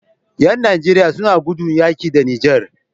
Yan nigeria suna gudun yaƙi da niger